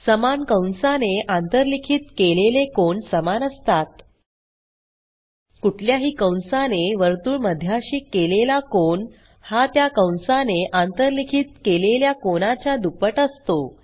समान कंसाने आंतरलिखित केलेले कोन समान असतात कुठल्याही कंसाने वर्तुळमध्याशी केलेला कोन हा त्या कंसाने आंतरलिखित केलेल्या कोनाच्या दुप्पट असतो